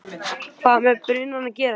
hvað með brunann að gera.